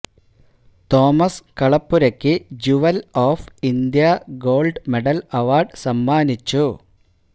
Thomas കളപ്പുരയ്ക്ക് jewel of India gold medal award സമ്മാനിച്ചു